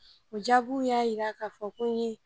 O jaabiw y'a yira ka fɔ ko n ye